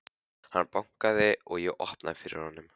Hann bankaði og ég opnaði fyrir honum.